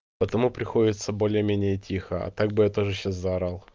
потому приходится более-менее тихо а так бы я тоже сейчас заорал